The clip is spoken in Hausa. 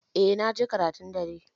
Eh na je karatun dare